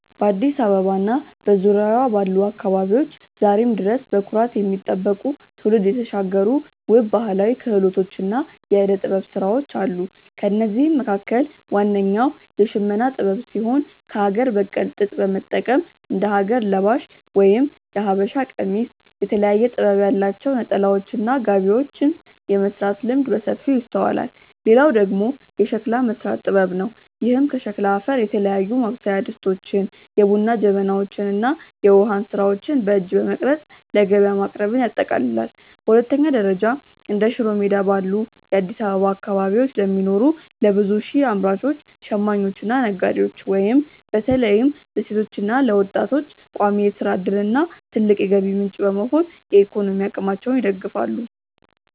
በአዲስ አበባ እና በዙሪያዋ ባሉ አካባቢዎች ዛሬም ድረስ በኩራት የሚጠበቁ፣ ትውልድ የተሻገሩ ውብ ባህላዊ ክህሎቶችና የዕደ-ጥበብ ሥራዎች አሉ። ከእነዚህም መካከል ዋነኛው የሽመና ጥበብ ሲሆን፣ ከአገር በቀል ጥጥ በመጠቀም እንደ ሀገር ለባሽ (የሀበሻ ቀሚስ)፣ የተለያየ ጥበብ ያላቸው ነጠላዎችና ጋቢዎችን የመሥራት ልምድ በሰፊው ይስተዋላል። ሌላው ደግሞ የሸክላ መሥራት ጥበብ ነው፤ ይህም ከሸክላ አፈር የተለያዩ ማብሰያ ድስቶችን፣ የቡና ጀበናዎችን እና የውሃ እንስራዎችን በእጅ በመቅረጽ ለገበያ ማቅረብን ያጠቃልላል። በሁለተኛ ደረጃ፣ እንደ ሽሮ ሜዳ ባሉ የአዲስ አበባ አካባቢዎች ለሚኖሩ ለብዙ ሺህ አምራቾች፣ ሽማኞችና ነጋዴዎች (በተለይም ለሴቶችና ለወጣቶች) ቋሚ የሥራ ዕድልና ትልቅ የገቢ ምንጭ በመሆን የኢኮኖሚ አቅማቸውን ይደግፋሉ።